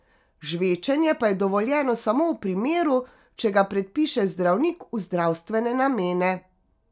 Žvečenje pa je dovoljeno samo v primeru, če ga predpiše zdravnik v zdravstvene namene.